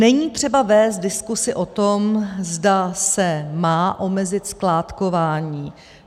Není třeba vést diskuzi o tom, zda se má omezit skládkování.